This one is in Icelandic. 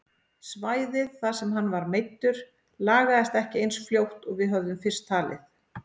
Svæðið þar sem hann var meiddur lagaðist ekki eins fljótt og við höfðum fyrst talið.